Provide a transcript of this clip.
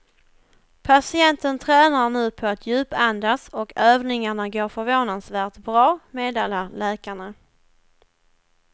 Patienten tränar nu på att djupandas och övningarna går förvånansvärt bra, meddelar läkarna.